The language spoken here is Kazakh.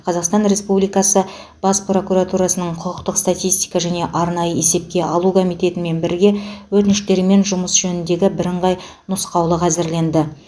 қазақстан республикасы бас прокуратурасының құқықтық статистика және арнайы есепке алу комитетімен бірге өтініштермен жұмыс жөніндегі бірыңғай нұсқаулық әзірленді